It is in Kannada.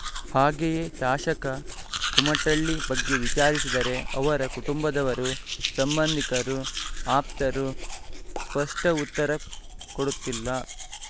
ಹಾಗೆಯೇ ಶಾಸಕ ಕುಮಟಳ್ಳಿ ಬಗ್ಗೆ ವಿಚಾರಿಸಿದರೆ ಅವರ ಕುಟುಂಬದವರು ಸಂಬಂಧಿಕರು ಆಪ್ತರು ಸ್ಪಷ್ಟಉತ್ತರ ಕೊಡುತ್ತಿಲ್ಲ